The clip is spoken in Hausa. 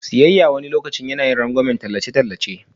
Siyayya wani lokaci yana yin rangwamen tallace-tallace.